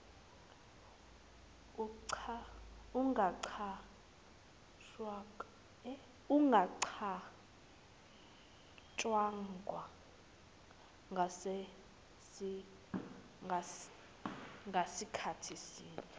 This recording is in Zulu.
ungacatshangwa ngasikhathi sini